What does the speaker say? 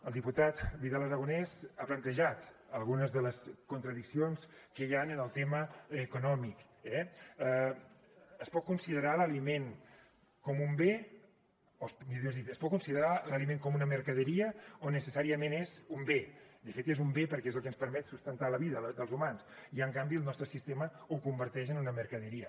el diputat vidal aragonés ha plantejat algunes de les contradiccions que hi han en el tema econòmic eh es pot considerar l’aliment com un bé o millor dit es pot considerar l’aliment com una mercaderia o necessàriament és un bé de fet és un bé perquè és el que ens permet sustentar la vida dels humans i en canvi el nostre sistema ho converteix en una mercaderia